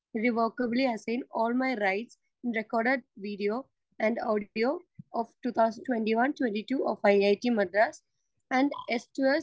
speaker 2 irrevocably assign all my rights in the record video and audio of two thousand twenty one - twenty two to IIT Madras and the S two സ്‌